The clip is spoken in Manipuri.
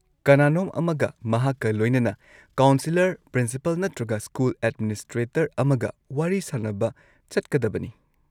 ꯀꯅꯥꯅꯣꯝ ꯑꯃꯒ ꯃꯍꯥꯛꯀ ꯂꯣꯏꯅꯅ ꯀꯥꯎꯟꯁꯦꯂꯔ, ꯄ꯭ꯔꯤꯟꯁꯤꯄꯥꯜ ꯅꯠꯇ꯭ꯔꯒ ꯁ꯭ꯀꯨꯜ ꯑꯦꯗꯃꯤꯅꯤꯁꯇ꯭ꯔꯦꯇꯔ ꯑꯃꯒ ꯋꯥꯔꯤ ꯁꯥꯅꯕ ꯆꯠꯀꯗꯕꯅꯤ꯫